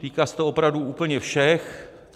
Týká se to opravdu úplně všech.